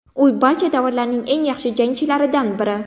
U barcha davrlarning eng yaxshi jangchilaridan biri.